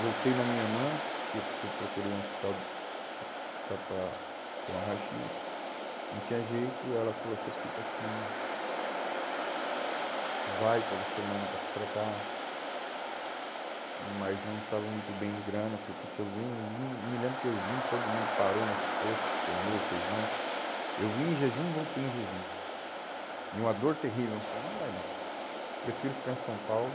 Voltei na minha irmã, eu eu procurei um hospital para para para tirar um raio-xis, não tinha jeito, ela falou, você fica aqui, vai toda semana para se tratar, mas não estava muito bem de grana, eu falei, putz, eu vim, eu vim, me lembro que eu vim, todo mundo parou nos postos, comeu, fez lanche, eu vim em jejum, voltei em jejum, em uma dor terrível, eu falei, não vai dar, prefiro ficar em São Paulo,